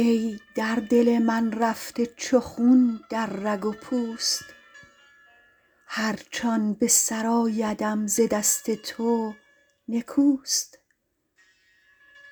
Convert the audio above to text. ای در دل من رفته چو خون در رگ و پوست هرچ آن به سر آیدم ز دست تو نکوست